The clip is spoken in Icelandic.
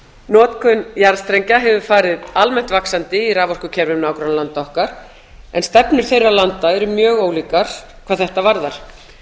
notkun jarðstrengja hefur farið almennt vaxandi í raforkukerfi nágrannalanda okkar en stefnukerfi landa eru mjög ólíkar hvað þetta varðar